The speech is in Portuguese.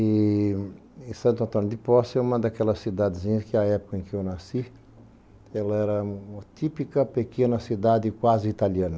E Santo Antônio de Posse é uma daquelas cidadezinhas que, na época em que eu nasci, era uma típica pequena cidade quase italiana.